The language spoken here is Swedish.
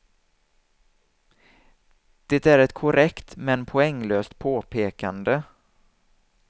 Det är ett korrekt men poänglöst påpekande.